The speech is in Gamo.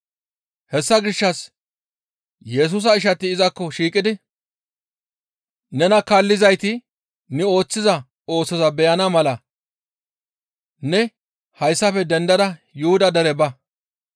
Hessa gishshas Yesusa ishati izakko shiiqidi, «Nena kaallizayti ne ooththiza oosoza beyana mala ne hayssafe dendada Yuhuda dere ba.